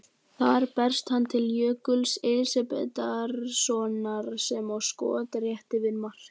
Þar berst hann til Jökuls Elísabetarsonar sem á skot rétt yfir markið.